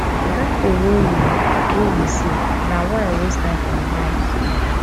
e don tey wey we wey we see na why i waste time for im house